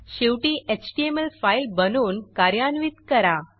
शेवटी HTML file बनवून कार्यान्वित करा